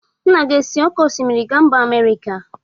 Nna gị esi oke osimiri gaa mba Amerika?